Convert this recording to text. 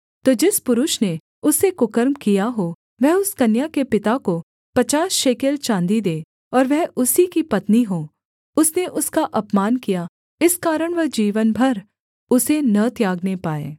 तो जिस पुरुष ने उससे कुकर्म किया हो वह उस कन्या के पिता को पचास शेकेल चाँदी दे और वह उसी की पत्नी हो उसने उसका अपमान किया इस कारण वह जीवन भर उसे न त्यागने पाए